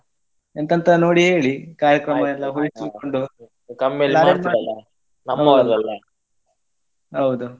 ಎಂತಂತ ನೋಡಿ ಹೇಳಿ ಕಾರ್ಯಕ್ರಮ ಎಲ್ಲ ಹುಡುಕಿಕೊಂಡು ಹೌದು.